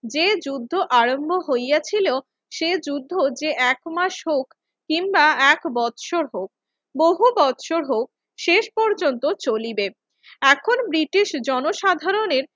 যে যুদ্ধ আরম্ভ হইয়াছিল সে যুদ্ধ যে এক মাস হউক কিংবা এক বছর হউক, বহু বছর হউক শেষ পর্যন্ত চলিবে। এখন ব্রিটিশ জনসাধারণের